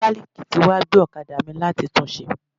Mọ́kálíìkì tí wá gbé ọ̀kadà mi láti tún un ṣe.